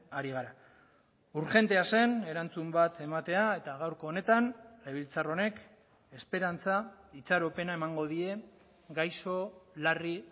ari gara urgentea zen erantzun bat ematea eta gaurko honetan legebiltzar honek esperantza itxaropena emango die gaixo larri